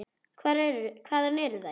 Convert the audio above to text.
Hvaðan eru þær.